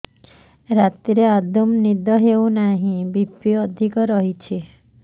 ରାତିରେ ଆଦୌ ନିଦ ହେଉ ନାହିଁ ବି.ପି ଅଧିକ ରହୁଛି